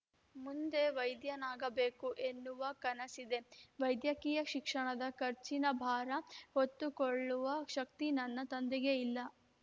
ಮುಂದೆ ವೈದ್ಯನಾಗಬೇಕು ಎನ್ನುವ ಕನಸಿದೆ ವೈದ್ಯಕೀಯ ಶಿಕ್ಷಣದ ಖರ್ಚಿನ ಭಾರ ಹೊತ್ತುಕೊಳ್ಳುವ ಶಕ್ತಿ ನನ್ನ ತಂದೆಗೆ ಇಲ್ಲ